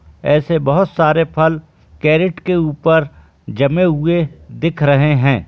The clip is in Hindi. ऐसे बहोत सारे फल कैरेट के ऊपर जमे हुए दिख रहें हैं।